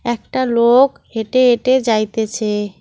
একটা লোক হেঁটে হেঁটে যাইতেছে।